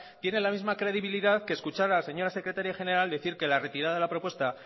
tiene la misma credibilidad que escuchar a la señora secretaria general decir que la retirada de la propuesta